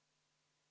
Austatud juhataja!